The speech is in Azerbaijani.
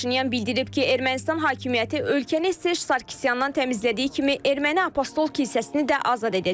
Paşinyan bildirib ki, Ermənistan hakimiyyəti ölkəni Serj Sarkisyandan təmizlədiyi kimi Erməni Apostol kilsəsini də azad edəcək.